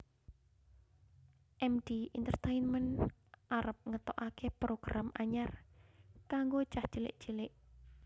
Md Entertainment arep ngetokake program anyar kanggo cah cilik clik